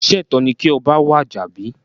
Sé ètó ni kí oba wàjà bí?